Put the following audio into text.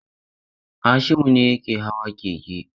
Hashimu ne yake hawa keke.